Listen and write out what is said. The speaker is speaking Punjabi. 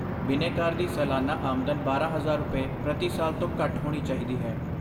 ਬਿਨੈਕਾਰ ਦੀ ਸਾਲਾਨਾ ਆਮਦਨ ਬਾਰਾਂ ਹਜ਼ਾਰ ਰੁਪਏ, ਪ੍ਰਤੀ ਸਾਲ ਤੋਂ ਘੱਟ ਹੋਣੀ ਚਾਹੀਦੀ ਹੈ